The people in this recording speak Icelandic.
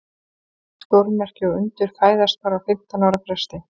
Stórmerki og undur fæðast bara á fimmtán ára fresti.